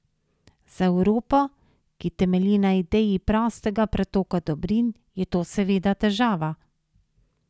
Za Evropo, ki temelji na ideji prostega pretoka dobrin, je to seveda težava.